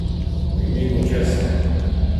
V imenu česa?